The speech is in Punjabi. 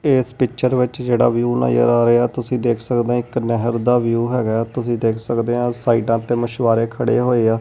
ਇਸ ਪਿਕਚਰ ਵਿੱਚ ਜਿਹੜਾ ਵਿਊ ਨਜਰ ਆ ਰਿਹਾ ਤੁਸੀਂ ਦੇਖ ਸਕਦੇ ਇੱਕ ਨਹਿਰ ਦਾ ਵਿਊ ਹੈਗਾ ਤੁਸੀਂ ਦੇਖ ਸਕਦੇ ਆ ਸਾਈਡਾਂ ਤੇ ਮਛੁਆਰੇ ਖੜੇ ਹੋਏ ਆ।